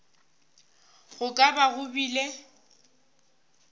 go ka ba go bile